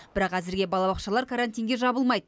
бірақ әзірге балабақшалар карантинге жабылмайды